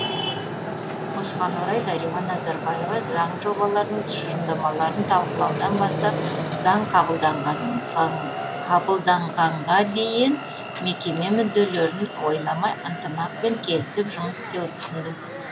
осыған орай дариға назарбаева заң жобаларының тұжырымдамаларын талқылаудан бастап заң қабылданғанға дейін мекеме мүдделерін ойламай ынтымақпен келісіп жұмыс істеуді ұсынды